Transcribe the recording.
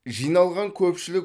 жиналған көпшілік